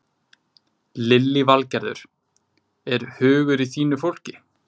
Lillý Valgerður: Er hugur í þínu fólki?